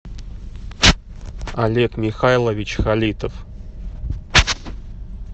олег михайлович халитов